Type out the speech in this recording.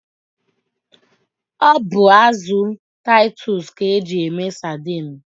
Ọ bụ azụ titus ka eji eme sadine.